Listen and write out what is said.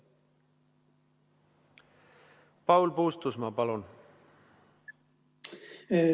Paul Puustusmaa, palun!